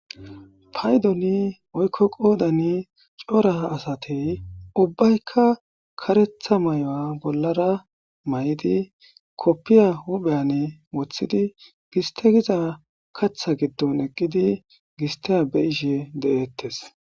paydoni oykko qoodani cora asati ubbaykka karetha may7o bollara may7idi koppiya hupheyane woththidi giste giza katha giddon eqqidi gista be ishe de7eettes